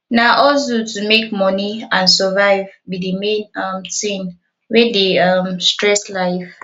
na hustle to make money and survive be di main um thing wey dey um stress life